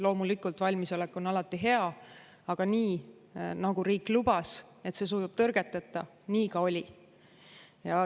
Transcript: Loomulikult, valmisolek on alati hea, aga nii, nagu riik lubas, et see sujub tõrgeteta, ka oli.